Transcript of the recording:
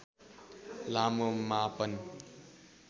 लामो मापन